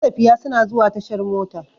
Matafiya suna zuwa tashar mota.